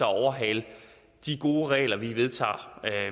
overhale de gode regler vi vedtager